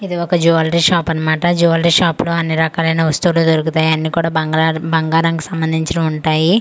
ఇది ఒక jewellery shop అన్నమాట జివేలరీ షాప్ లో అన్ని రకలైన వస్తువులు దొరుకుతాయి అన్ని కూడా బంగాలరాం బంగారానికి సంబందించినవి ఉంటాయి .]